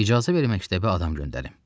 icazə ver məktəbə adam göndərim.